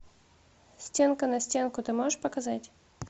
стенка на стенку ты можешь показать